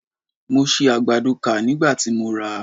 Mo si àgbàdo kà nígbà tí mo rà á.